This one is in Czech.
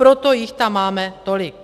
Proto jich tam máme tolik.